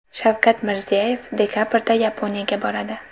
Shavkat Mirziyoyev dekabrda Yaponiyaga boradi.